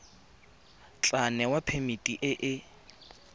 tla newa phemiti e e